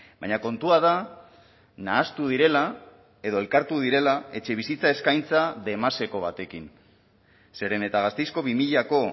baina kontua da nahastu direla edo elkartu direla etxebizitza eskaintza demaseko batekin zeren eta gasteizko bi milako